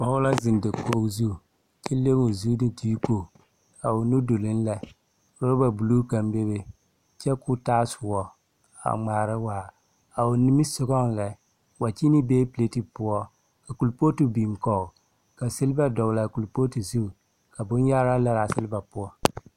Pɔge la zeŋ dakoge zu, kyɛ le o zu ne deeko. A o nudoloŋ lɛ, roba buluu kaŋ bebe, kyɛ koo taa soɔ, a ŋmaara waar. A o nimisɔgɔŋ lɛ, wakyeene bee pelate poɔ, ka kolpɔɔte biŋ kɔge, ka selba doglaa kolpɔɔte zuŋ, kaa bonyaaraa laraa selba poɔ.